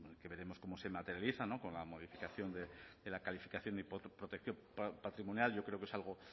que veremos cómo se materializa con la modificación de la calificación y protección patrimonial yo creo que es algo